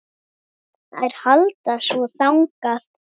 Þær halda svo þangað.